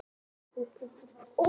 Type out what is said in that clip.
Best er að sjóða blekið í járnpotti.